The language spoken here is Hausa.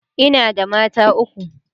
ina da mata uku